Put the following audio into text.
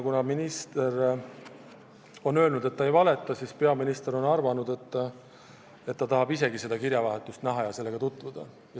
Kuna minister on öelnud, et ta ei valeta, siis on peaminister avaldanud soovi seda kirjavahetust näha ja sellega tutvuda.